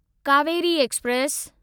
Kaveri express